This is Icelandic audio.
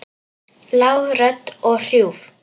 Lág rödd og hrjúf.